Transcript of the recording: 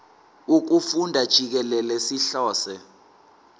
wokufunda jikelele sihlose